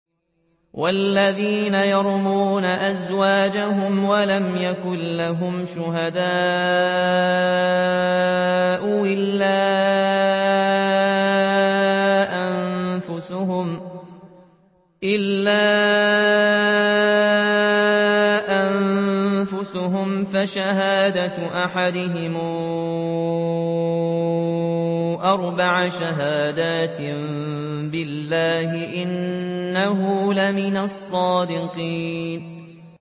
وَالَّذِينَ يَرْمُونَ أَزْوَاجَهُمْ وَلَمْ يَكُن لَّهُمْ شُهَدَاءُ إِلَّا أَنفُسُهُمْ فَشَهَادَةُ أَحَدِهِمْ أَرْبَعُ شَهَادَاتٍ بِاللَّهِ ۙ إِنَّهُ لَمِنَ الصَّادِقِينَ